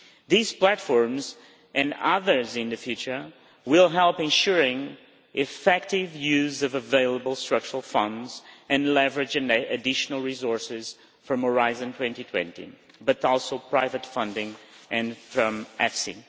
These platforms and others in the future will help in ensuring effective use of available structural funds and leverage additional resources from Horizon 2020, but also private funding and EFSI.